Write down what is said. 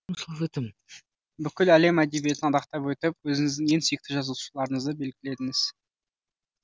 бүкіл әлем әдебиетін адақтап өтіп өзіңіздің ең сүйікті жазушыларыңызды белгіледіңіз